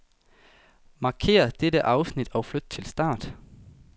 Markér dette afsnit og flyt til start.